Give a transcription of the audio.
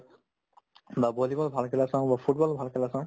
বা bowling ৰ ভাল খেলা চাও বা football ভাল খেলা চাও